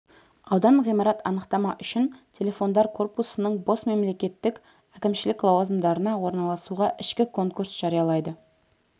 аудан ғимарат анықтама үшін телефондар корпусының бос мемлекеттік әкімшілік лауазымдарына орналасуға ішкі конкурс жариялайды